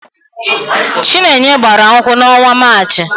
Chinenye gbara nkwụ n'ọnwa Maachị.